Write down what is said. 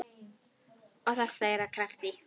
Og það slær af krafti.